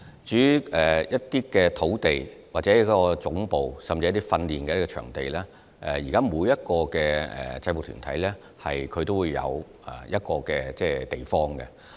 至於土地、總部，甚至訓練場地方面，其實現在每個制服團體都有場地作為會址。